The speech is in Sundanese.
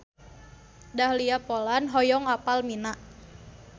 Dahlia Poland hoyong apal Mina